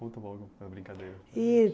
Conta um pouco a brincadeira. E